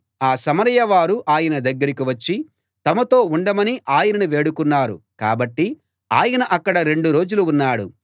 ఆ సమరయ వారు ఆయన దగ్గరికి వచ్చి తమతో ఉండమని ఆయనను వేడుకున్నారు కాబట్టి ఆయన అక్కడ రెండు రోజులు ఉన్నాడు